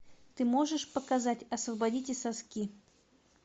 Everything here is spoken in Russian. ты можешь показать освободите соски